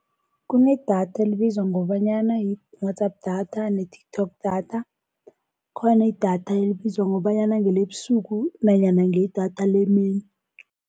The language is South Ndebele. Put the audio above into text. Kunedatha elibizwa ngobanyana i-WhatsApp data ne-TikTok data. Khona idatha elibizwa ngobanyana ngelebusuku nanyana ngedatha lemini.